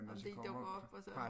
Om de dukker op og så